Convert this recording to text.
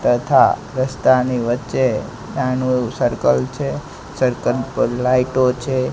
તથા રસ્તાની વચ્ચે નાનુ એવુ સર્કલ છે સર્કલ પર લાઈટો છે.